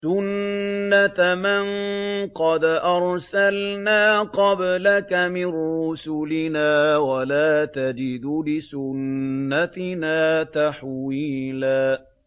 سُنَّةَ مَن قَدْ أَرْسَلْنَا قَبْلَكَ مِن رُّسُلِنَا ۖ وَلَا تَجِدُ لِسُنَّتِنَا تَحْوِيلًا